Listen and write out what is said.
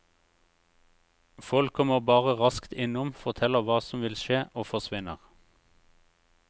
Folk kommer bare raskt innom, forteller hva som vil skje, og forsvinner.